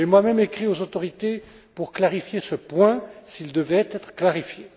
J'ai moi même écrit aux autorités pour clarifier ce point s'il devait être clarifié.